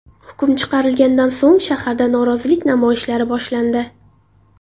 Hukm chiqarilganidan so‘ng, shaharda norozilik namoyishlari boshlandi.